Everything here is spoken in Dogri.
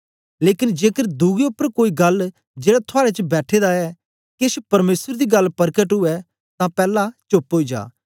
लेकन जेकर दुए उपर कोई गल्ल जेड़ा थुआड़े च बैठे दा ऐ केछ परमेसर दी गल्ल परकट उवै तां पैला चोप्प ओई जा